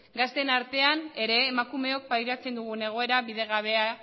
gazteen artean ere emakumeek pairatzen dugun egoera bidegabea